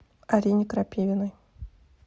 арине крапивиной